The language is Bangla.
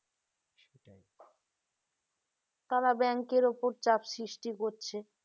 তারা bank এর উপর চাপ সৃষ্টি করছে